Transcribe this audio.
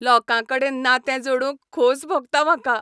लोकांकडेन नातें जोडूंक खोस भोगता म्हाका.